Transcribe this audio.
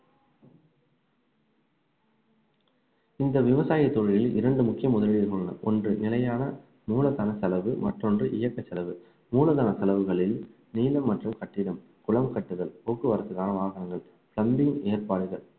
இந்த விவசாய தொழிலில் இரண்டு முக்கிய முதலீடுகள் உள்ளன ஒன்ற நிலையான மூலதன செலவு மற்றொன்று இயக்கச் செலவு மூலதன செலவுகளில் நீளம் மற்றும் கட்டிடம் குளம் கட்டுதல் போக்குவரத்துக்கான வாகனங்கள் ஏற்பாடுகள்